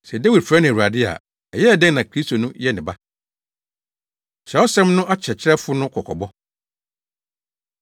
Sɛ Dawid frɛ no ‘Awurade’ a, ɛyɛɛ dɛn na Kristo no yɛ ne ba?” Kyerɛwsɛm No Akyerɛkyerɛfo No Kɔkɔbɔ